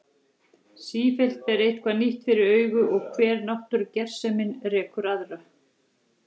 Sífellt ber eitthvað nýtt fyrir augu og hver náttúrugersemin rekur aðra.